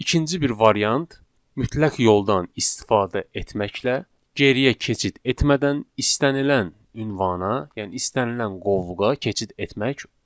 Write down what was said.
İkinci bir variant mütləq yoldan istifadə etməklə geriyə keçid etmədən istənilən ünvana, yəni istənilən qovluğa keçid etmək.